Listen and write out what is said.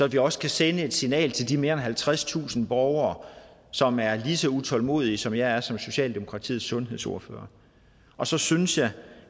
vi også sende et signal til de mere end halvtredstusind borgere som er lige så utålmodige som jeg er som socialdemokratiets sundhedsordfører og så synes jeg